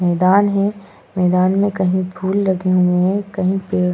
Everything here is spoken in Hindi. मैदान है मैदान में कहीं फूल लगे हुए हैं कहीं पेड़ --